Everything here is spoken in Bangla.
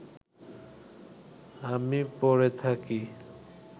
আমি পড়ে থাকি